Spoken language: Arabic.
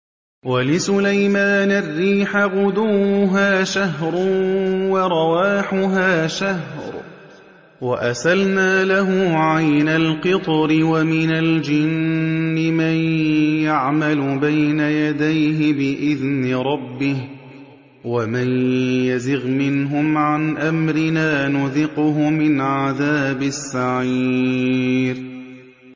وَلِسُلَيْمَانَ الرِّيحَ غُدُوُّهَا شَهْرٌ وَرَوَاحُهَا شَهْرٌ ۖ وَأَسَلْنَا لَهُ عَيْنَ الْقِطْرِ ۖ وَمِنَ الْجِنِّ مَن يَعْمَلُ بَيْنَ يَدَيْهِ بِإِذْنِ رَبِّهِ ۖ وَمَن يَزِغْ مِنْهُمْ عَنْ أَمْرِنَا نُذِقْهُ مِنْ عَذَابِ السَّعِيرِ